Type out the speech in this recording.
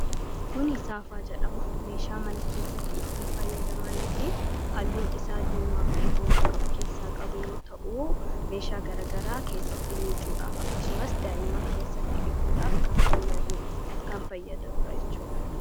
Kuni Saafaa jedhama. Meeshaa mana keessatti ittiin fayyadamanii fi halluun isaa diimaa fi boora ka of keessaa qabu yoo ta'u, meeshaa garagaraa keessatti miicuudhaaf akkasumas daa'imman keessatti dhiquudhaaf kan fayyaduudha jechuu dha.